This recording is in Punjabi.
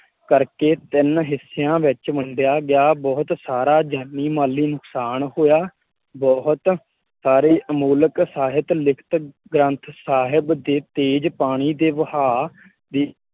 ਕਰਕੇ ਤਿੰਨ ਹਿੱਸਿਆਂ ਵਿੱਚ ਵੰਡਿਆ ਗਿਆ। ਬਹੁਤ ਸਾਰਾ ਜਾਨੀ ਮਾਲੀ ਨੁਕਸਾਨ ਹੋਇਆ। ਬਹੁਤ ਸਾਰੇ ਅਮੋਲਕ ਸਹਿਤ ਲਿਖਤ ਗ੍ਰੰਥ ਸਾਹਿਬ ਦੇ ਤੇਜ ਪਾਣੀ ਦੇ ਵਹਾਅ